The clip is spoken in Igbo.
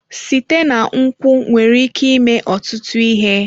Site na nkwụ nwere ike ime ọtụtụ ihe.